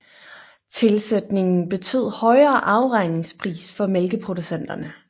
Tilsætningen betød højere afregningspris for mælkeproducenterne